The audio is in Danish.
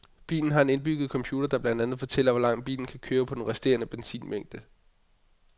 Bilen har en indbygge computer, der blandt andet fortæller, hvor langt bilen kan køre på den resterende benzinmængde.